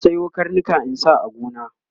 zan Sayo karnika in sa a gona